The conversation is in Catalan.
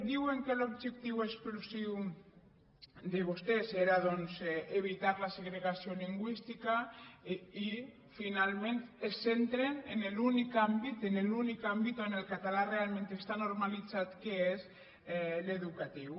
diuen que l’objectiu exclusiu de vostès era doncs evitar la segregació lingüística i finalment es centren en l’únic àmbit en l’únic àmbit on el català realment està normalitzat que és l’educatiu